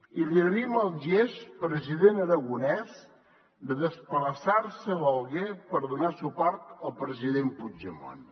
i li agraïm el gest president aragonès de desplaçar se a l’alguer per donar suport al president puigdemont